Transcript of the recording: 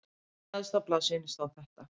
Neðst á blaðsíðunni stóð þetta